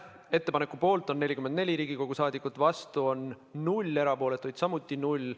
Ettepaneku poolt on 44 Riigikogu liiget, vastu on 0, erapooletuid samuti 0.